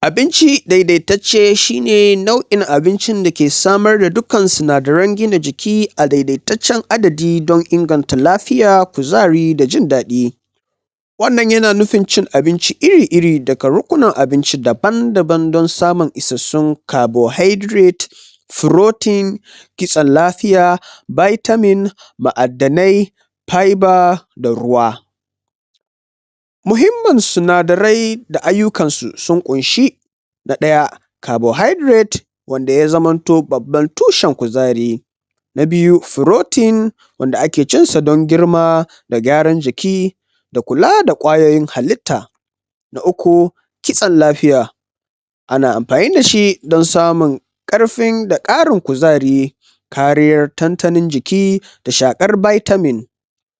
abinci daidaitatce shine nau'in abincin dake samar da duk kan sinadaran gina jiki a daidaitatcan adadi don inganta lafiya kuzari da jindaɗi wannan yana nufin cin abinci iri iri daga rukkunan abinci daban daban don samun isassun carbohydrate, proten, kitsan lafiya vitamin mu'addanay fibre da ruwa muhimmin sunadarai da aiyukansu sun ƙunshi na ɗaya carbohydrate wanda ya zamanto babban tushan kuzari na biyu protein wanda ake cinsa don girma da gyaran jiki da kula da ƙwayoyin halitta na ukukitsan lafiya ana amfani dashi don samun karfin da ƙarin kuzari kariyar tantanin jiki da shakar vitamin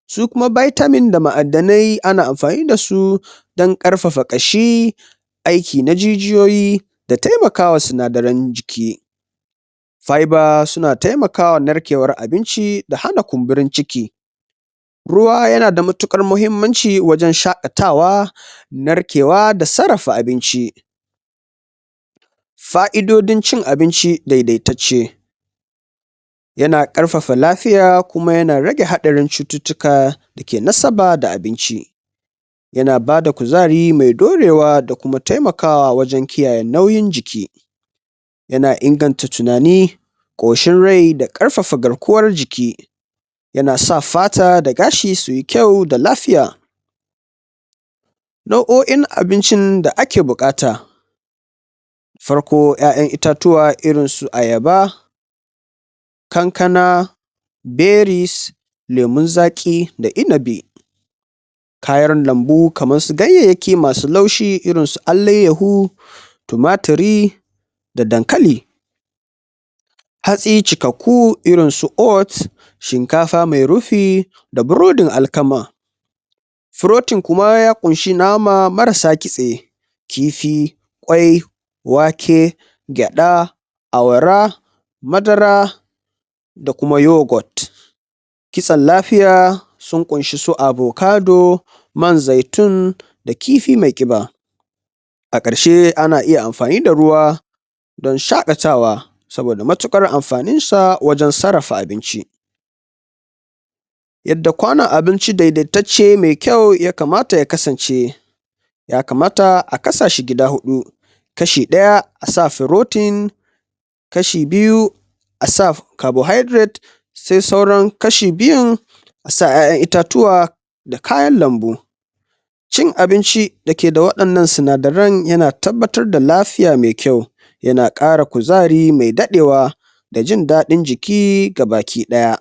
su kuma vitamin da ma'adanay ana amfani dasu dan ƙarfafa ƙashi aiki na jijiyoyi da taimakawa sinadaran jiki fibre suna taimakawa narkewar abinci da hana kumbirin ciki ruwa yana da matuƙar mahimmanci wajan shaƙatawa narkewa sarrafa abinci fa'idodin cin abinci daidaitacce yana karfafa lafiya kuma yana rage haɗarin cututtuka dake nasaba da abinci yana bada kuzari me dorewa da kuma wajan kiyaye nauyin jiki yana inganta tunani ƙoshin rai da ƙarfafa garkuwar jiki yana sa fata da gashi suyi da lafiya nau'oin abincin da ake buƙata farko ƴa'ƴan itatuwa irinsu ayaba kankana, berries, lemun zaki da inibi kayan lanbu kamarsu ganyayyaki masu laushi irinsu alayyahu tumaturi da dankali hatsi cikakku irinsu oth, shinkafa me rufi da burodin alkama protein kuma ya kunshe nama marasa kitse kifi, ƙwai wake gyaɗa, awara madara da kuma yugot kitsan lafiya sun kunshi su avocador man zaitun da kifi me kiba a karshe ana iya amfani da ruwa dan shaƙata wa saboda matuƙar amfaninsa wajan sarrafa abinci yadda ƙwanon abinci daidaitatce me kyau ya kamata ya kasance ya kamata a kasashi kashe hudu kashi ɗaya asa proten kashi biyu asa carbohydrate sai sauran kashi biyun asa ƴa'ƴan itatuwa da kayan lanbu cin abinci dake da waɗannan sinadaran yana tabbatar da lafiya me kyau yana ƙara kuzari me daɗewa da jindaɗin jiki gaba ki ɗaya